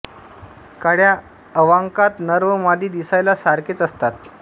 काळ्या अवाकांत नर व मादी दिसायला सारखेच असतात